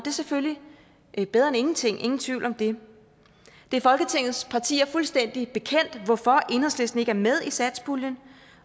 er selvfølgelig bedre end ingenting ingen tvivl om det det er folketingets partier fuldstændig bekendt hvorfor enhedslisten ikke er med i satspuljen